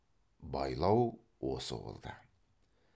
байлау осы болды